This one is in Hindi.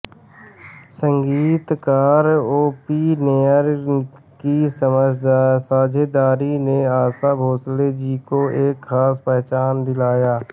संगीतकार ओ पी नैयर की साझेदारी ने आशा भोसले जी को एक खास पहचान दिलाया